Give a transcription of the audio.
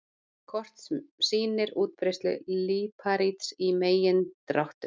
Kort sem sýnir útbreiðslu líparíts í megindráttum.